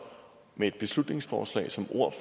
med et beslutningsforslag som ord